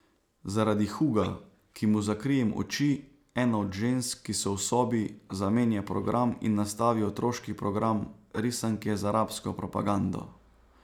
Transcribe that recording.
Zaradi Huga, ki mu zakrijem oči, ena od žensk, ki so v sobi, zamenja program in nastavi otroški program, risanke z arabsko propagando.